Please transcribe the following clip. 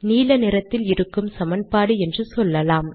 நீல நிறத்தில் இருக்கும் சமன்பாடு என்று சொல்லலாம்